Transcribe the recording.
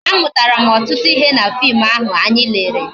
A mụtara m ọtụtụ ihe na fim ahụ anyị lere